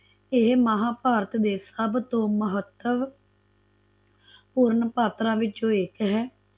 ਇਹ ਮਹਾਭਾਰਤ ਦੇ ਸਭਤੋਂ ਮਹਤਵ ਪੂਰਣ ਪਾਤਰਾਂ ਵਿੱਚੋ ਇਕ ਹੈ